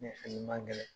Ne fini ma gɛlɛn